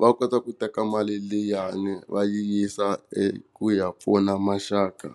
va kota ku teka mali liyani va yisa eku ya pfuna maxaka.